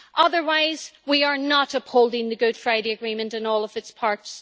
Otherwise, we are not upholding the Good Friday Agreement in all of its parts.